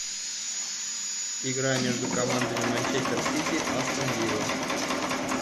игра между командами манчестер сити астон вилла